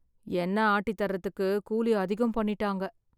எண்ணெ ஆட்டி தரதுக்கு கூலி அதிகம் பண்ணிட்டாங்க.